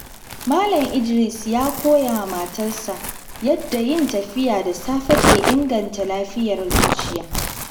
Malam Idris ya koya wa matasa yadda yin tafiya da safe ke inganta lafiyar zuciya.